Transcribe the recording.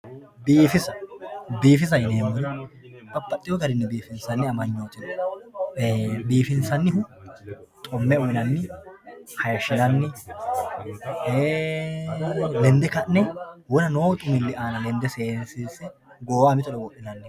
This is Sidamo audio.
biifisa biifisate yineemmoti babbaxxino garinni biifisate amanyooti no biifinsannihu xumme uyiinanni hasiishshinanni lende ka'ne wona noo xumilli aana lende seesiinse goowaho mitore wodhinanniho